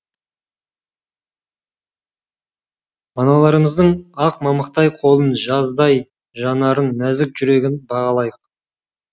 аналарымыздың ақ мамықтай қолын жаздай жанарын нәзік жүрегін бағалайық